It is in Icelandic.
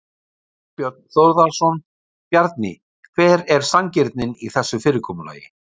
Þorbjörn Þórðarson: Bjarni hver er sanngirnin í þessu fyrirkomulagi?